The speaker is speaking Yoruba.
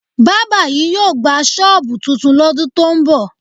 Bábà yìí yóò gba ṣọ́ọ̀bù tuntun lọ́dún tó ń bọ̀